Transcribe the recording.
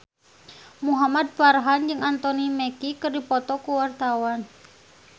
Muhamad Farhan jeung Anthony Mackie keur dipoto ku wartawan